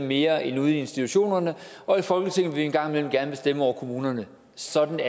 mere end ude i institutionerne og i folketinget vil vi en gang imellem gerne bestemme over kommunerne sådan